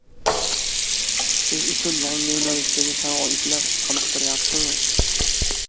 Siz uchun yangi yo‘nalishdagi sharoitlar qoniqtiryaptimi?